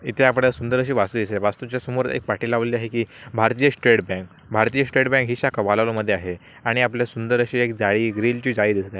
एथे आपल्याला सुंदर अशी वास्तू दिसतय वास्तुच्या समोर एक पाटी लावलेली आहे की भारतीय स्टेट बँक भारतीय स्टेट बँक ही शाखा वालावल मध्ये आहे आणि आपल्या सुंदर अशी एक जाळी ग्रीन ची जाळी दिसत आहे.